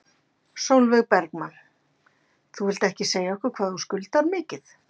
Sólveig Bergmann: Þú vilt ekki segja okkur hvað skuldir mikið?